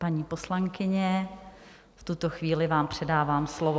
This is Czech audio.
Paní poslankyně, v tuto chvíli vám předávám slovo.